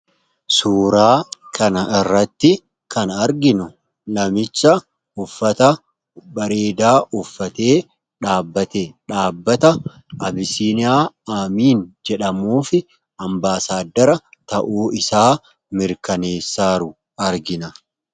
suuraa kana irratti kan arginu namicha uffata bareedaa uffatee dhaabbate dhaabbata abisiiniyaa amiin jedhamuufi ambaasaadara ta'uu isaa mirkaneessaaru argina